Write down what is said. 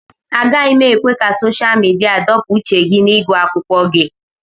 Agaghị m ekwe ka sosha midia dọpụ uche gị n'ịgụ akwụkwọ gị